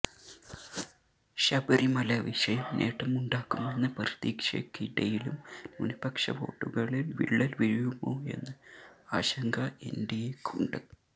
ശബരിമല വിഷയം നേട്ടമുണ്ടാക്കുമെന്ന പ്രതീക്ഷയ്ക്കിടയിലും ന്യൂനപക്ഷ വോട്ടുകളിൽ വിള്ളൽവീഴുമോയെന്ന ആശങ്ക എൻഡിഎക്കുണ്ട്